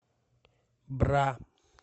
бра